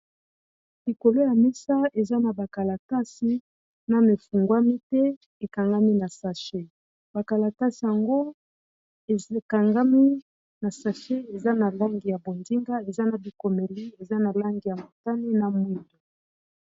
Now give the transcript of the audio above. Likolo ya mesa eza na ba kalatasi Nanu efungwami te ekangami na sache. Bakalatasi yango ekangami na sache eza na langi ya bonzinga eza na bi komeli eza na langi ya motane na mwindu.